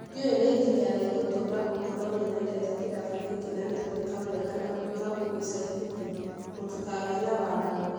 Ndiũĩ nĩ nginya rĩ ngũtũũra gũkũ no ninyendete kĩrabu gĩkĩ na nĩ ngwĩka wega na ngwĩka ũgũo ica ikũhĩ, mũtĩkagĩe na wagagu